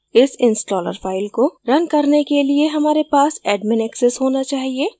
इस installer file को run करने के लिए हमारे पास admin access होना चाहिए